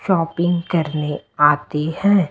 Shopping करने आते हैं।